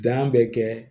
bɛ kɛ